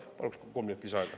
Paluks kolm minutit lisaaega.